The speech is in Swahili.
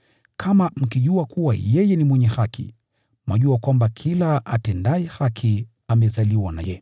Kama mkijua kuwa yeye ni mwenye haki, mwajua kwamba kila atendaye haki amezaliwa naye.